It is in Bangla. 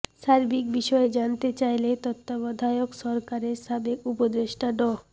সার্বিক বিষয়ে জানতে চাইলে তত্ত্বাবধায়ক সরকারের সাবেক উপদেষ্টা ড